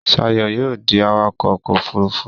Shayo yóò dì awakọ ọkọ òfurufú.